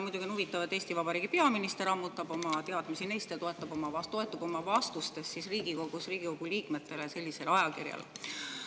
Muidugi on huvitav, et Eesti Vabariigi peaminister ammutab oma teadmisi sealt ja toetub oma vastustes Riigikogu liikmetele sellisele ajakirjale.